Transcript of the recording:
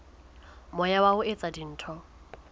moya wa ho etsa dintho